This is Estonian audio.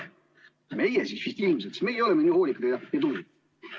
Ja need oleme siis ilmselt meie, sest meie oleme nii hoolikad ja tublid.